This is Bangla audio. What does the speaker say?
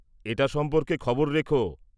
-এটা সম্পর্কে খবর রেখো।